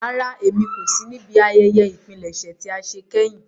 Rárá, Émi ko si ni ibi àyẹyẹ ìpilẹṣẹ tia ṣe kẹhin.